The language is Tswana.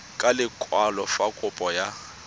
ka lekwalo fa kopo ya